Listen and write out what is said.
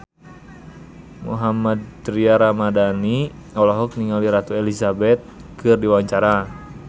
Mohammad Tria Ramadhani olohok ningali Ratu Elizabeth keur diwawancara